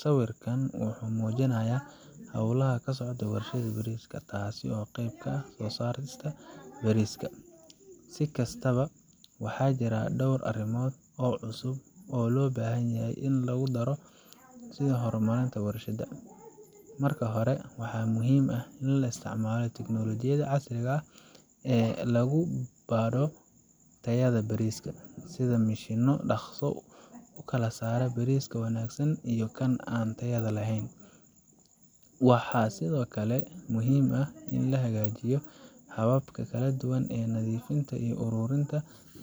Sawirkan wuxuu muujinayaa hawlaha ka socda warshadda bariiska, taasoo qayb ka ah soo saarista bariiska iyo diyaarintiisa. Si kastaba, waxaa jira dhowr arrimood oo cusub oo loo baahan yahay in lagu daro sids horumarinta warshadda. Marka hore, waxaa muhiim ah in la isticmaalo tignoolajiyada casriga ah ee lagu baadho tayada bariiska, sida mishiinno dhakhso u kala saara bariiska wanaagsan iyo kan aan tayada lahayn. Waxaa sidoo kale muhiim ah in la hagaajiyo hababka kala duwan ee nadiifinta iyo ururinta